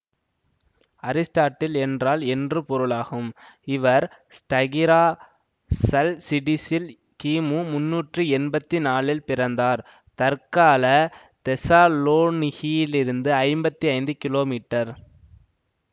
Aristotle என்றால் என்று பொருளாகும்இவர் ஸ்டகிராஷல்சிடிஸில் கிமு முண்ணூற்றி எண்பத்தி நாலில் பிறந்தார் தற்கால தெஸாலோனிகி யிலிருந்து ஐம்பத்தி ஐந்து கீழோ மீட்டர்